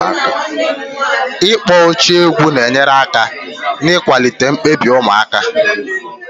Ịkpọ oche egwu na-enyere aka n'ịkwalite mkpebi ụmụaka.